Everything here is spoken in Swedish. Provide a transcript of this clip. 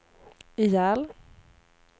ihjäl